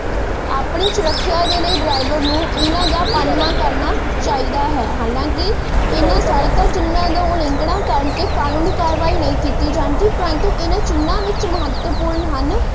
ਆਪਣੇ ਸੁਰੱਖਿਆ ਦੇ ਲਈ ਨੂੰ ਇਹਨਾਂ ਚਿਹਨਾ ਦਾ ਪਾਲਣਾ ਕਰਨਾ ਚਾਹਿਦਾ ਹੈ, ਹਾਲਾਂਕਿ ਇਹਨਾਂ ਸੜਕ ਚਿਹਨਾ ਦਾ ਉਲੰਘਣਾ ਕਰਨ ਤੇ ਕਾਨੂਨੀ ਕਾਰਵਾਈ ਨਹੀਂ ਕੀਤੀ ਜਾਂਦੀ ਪਰੰਤੂ ਇਹਨਾਂ ਚਿਹਨਾ ਵਿੱਚ ਮਹੱਤਵਪੂਰਨ ਹਨ।